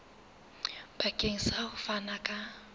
bakeng sa ho fana ka